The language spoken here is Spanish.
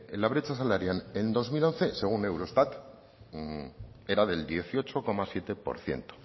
la brecha salarial en dos mil once según eurostat era del dieciocho coma siete por ciento